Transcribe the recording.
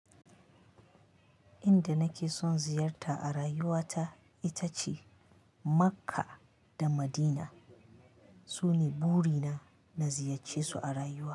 Inda nake son ziyarta a rayuwata ita ce Makka da Madina. Sune burina na ziyacce su a rayuwa.